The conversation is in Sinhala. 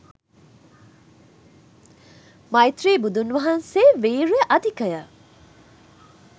මෛත්‍රී බුදුන් වහන්සේ වීර්ය අධිකය.